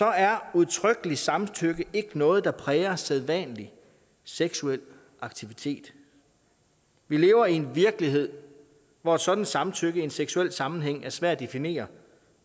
er udtrykkeligt samtykke ikke noget der præger sædvanlig seksuel aktivitet vi lever i en virkelighed hvor et sådant samtykke i en seksuel sammenhæng kan være svært at definere